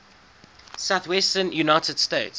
southwestern united states